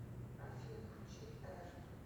афина включи эрт